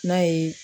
N'a ye